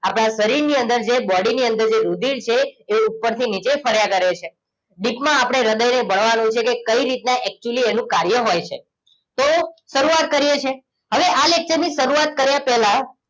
આપણા શરીરની અંદર જે body ની અંદર જે રુધિર છે એ ઉપરથી નીચે ફર્યા કરે છે deep માં આપણે હૃદયને ભણવાનું છે કે કઈ રીતના actually એનું કાર્ય હોય છે તો શરૂઆત કરીએ છીએ હવે આ lecture ની શરૂઆત કર્યા પહેલા